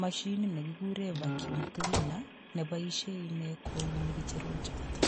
mashinit negikuren vacuumcleaner ne boisie inne kouni kicherok choto.